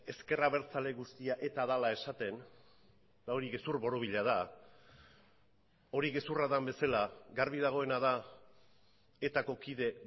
ezker abertzale guztia eta dela esaten eta hori gezur borobila da hori gezurra den bezala garbi dagoena da etako kide